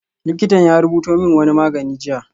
Likitan ya rubuto min wani magani jiya